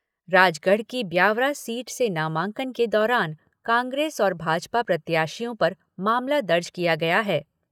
राजगढ़ की ब्यावरा सीट से नामांकन के दौरान कांग्रेस और भाजपा प्रत्याशियों पर मामला दर्ज किया गया है।